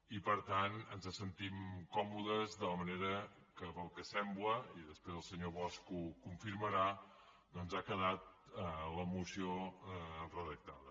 i per tant ens sentim còmodes amb la manera que pel que sembla i després el senyor bosch ho confirmarà ha quedat la moció redactada